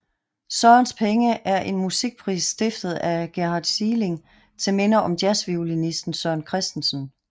Sørens penge er en musikpris stiftet af Gerhard Sieling til minde om jazzviolinisten Søren Christensen